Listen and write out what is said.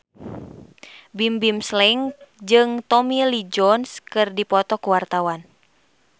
Bimbim Slank jeung Tommy Lee Jones keur dipoto ku wartawan